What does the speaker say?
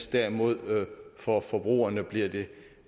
derimod for forbrugerne